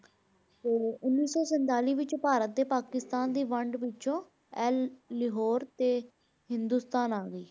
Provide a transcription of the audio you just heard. ਫਿਰ ਉੱਨੀ ਸੌ ਸੰਤਾਲੀ ਵਿੱਚ ਭਾਰਤ ਤੇ ਪਾਕਿਸਤਾਨ ਦੀ ਵੰਡ ਪਿੱਛੋਂ ਇਹ ਲਾਹੌਰ ਤੇ ਹਿੰਦੁਸਤਾਨ ਆ ਗਈ।